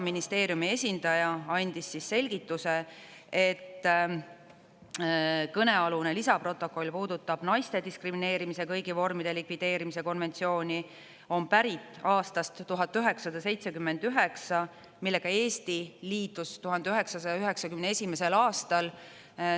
Ministeeriumi esindaja andis selgituse et kõnealune lisaprotokoll puudutab naiste diskrimineerimise kõigi vormide likvideerimise konventsiooni ja on pärit aastast 1979, millega Eesti liitus 1991. aastal.